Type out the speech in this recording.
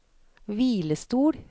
hvilestol